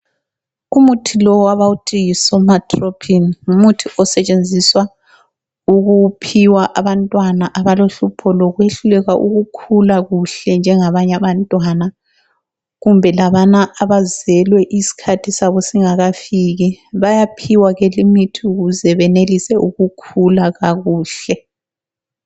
Umuthi lowu abawuthi yiSomatropin ngumuthi osetshenziswa ukuphiwa abantwana abalohlupho lekwehluleka ukukhula kuhle njengabanye abantwana, kumbe labana abazelwe isikhathi sabo singafiki bayaphiwa ke lemithi ukuze beyenelise ukukhula kakuhle.